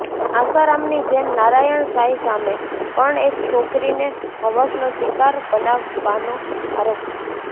આસારામની જેમ નારાયણ સાંઈ સામે પણ એક છોકરીને હવસનો શિકાર બનાવવાનો આરોપ છે